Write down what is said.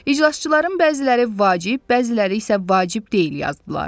İclasçıların bəziləri vacib, bəziləri isə vacib deyil yazdılar.